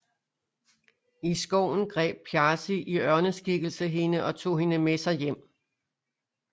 I skoven greb Þjazi i ørneskikkelse hende og tog hende med sig hjem